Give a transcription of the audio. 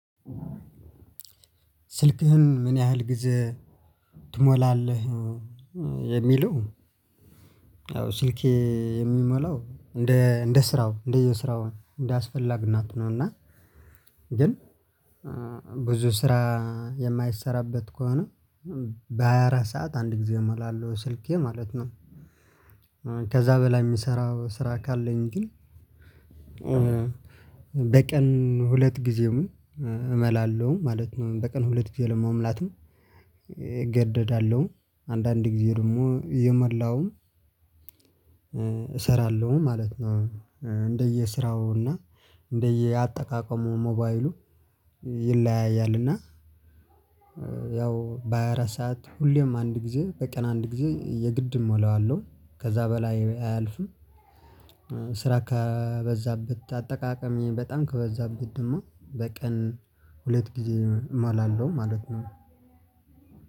ስልክህን ምን ያህል ጊዜ ትሞላለህ? የሚለው ያው ስልኬ የሚሞላው እንደ እንደ ስራው እንደየየስራው እንዳስፈላጊነቱ ነው። እና ግን ብዙ ስራ የማይሰራበት ከሆነ በሃያ አራት ሰዓት አንድ ጊዜ እሞላለሁ ስልኬ ማለት ነው። ከዛ በላይ የምሰራው ስራ ካለኝ ግን በቀን ሁለት ጊዜውን እመላለሁ ማለት ነው። በቀን ሁለት ጊዜ ለመሙላትም እገደዳለሁ አንዳንድ ጊዜ ደግሞ እየሞላውም እሰራለሁ ማለት ነው። እንደየስራው እና እንደየአጠቃቀሙ ሞባይሉ ይለያያልና። ያው በሃያ አራት ሰዓት ሁሌም አንድ ጊዜ በቀን አንድ ጊዜ የግድ እሞላዋለሁ ከዛ በላይ አያልፍም። ስራ ከበዛበት አጠቃቀሜ በጣም ከበዛበት ደግሞ በቀን ሁለት ጊዜ እሞላለሁ ማለት ነው።